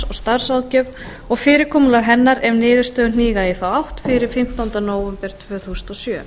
starfsráðgjöf og fyrirkomulag hennar ef niðurstöður hníga í þá átt fyrir fimmtánda nóvember tvö þúsund og sjö